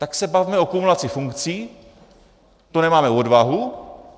Tak se bavme o kumulaci funkcí, to nemáme odvahu.